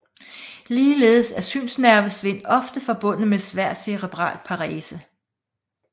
Ligeledes er synsnervesvind ofte forbundet med svær cerebral parese